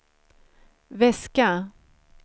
väska